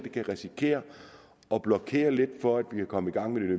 kan risikere at blokere lidt for at vi kan komme i gang